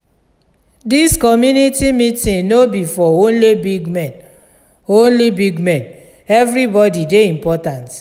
dis community meeting no be for only big men only big men everybody dey important.